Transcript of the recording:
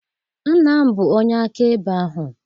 Nna m bụ onye akaebe ahụ.